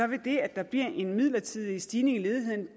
vil det at der bliver en midlertidig stigning i ledigheden